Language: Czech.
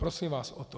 Prosím vás o to.